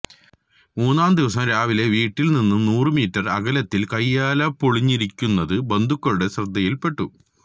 മൂന്നാം ദിവസം രാവിലെ വീട്ടില് നിന്നും നൂറുമീറ്റര് അകലത്തില് കയ്യാലപൊളിഞ്ഞിരിക്കുന്നത് ബന്ധുക്കളുടെ ശ്രദ്ധയില്പ്പെട്ടു